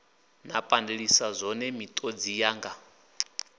nda pandeliswa zwone miṱodzi yanga